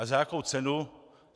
A za jakou cenu?